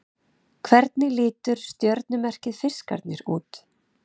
Hvernig lítur stjörnumerkið Fiskarnir út?